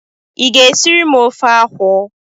Ị ga esiri m ofe akwụ?